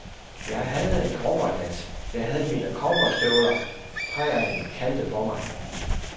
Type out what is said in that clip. Jeg havde en cowboyhat, jeg havde mine cowboystøvler, prærien kaldte på mig.